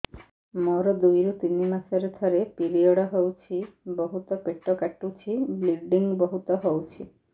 ମୋର ଦୁଇରୁ ତିନି ମାସରେ ଥରେ ପିରିଅଡ଼ ହଉଛି ବହୁତ ପେଟ କାଟୁଛି ବ୍ଲିଡ଼ିଙ୍ଗ ବହୁତ ହଉଛି